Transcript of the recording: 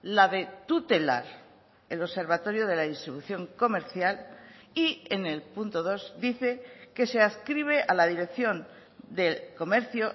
la de tutelar el observatorio de la distribución comercial y en el punto dos dice que se adscribe a la dirección del comercio